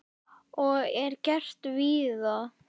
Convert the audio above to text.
Og er gert víða.